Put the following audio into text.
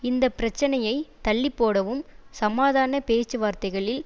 இந்த பிரச்சனையை தள்ளிப்போடவும் சமாதான பேச்சுவார்த்தைகளில்